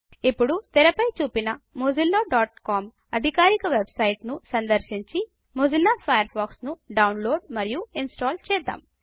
ఇప్పుడు తేరా పై చూపిన mozillaకామ్ అధికారిక వెబ్సైట్ ను సందర్శించి మొజిల్లా ఫయర్ ఫాక్స్ ను డౌన్లోడ్ మరియు ఇన్స్టాల్ చేద్దాం